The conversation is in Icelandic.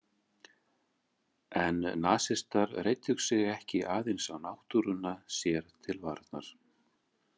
En nasistar reiddu sig ekki aðeins á náttúruna sér til varnar.